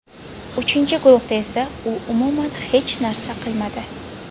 Uchinchi guruhda esa u umuman hech narsa qilmadi.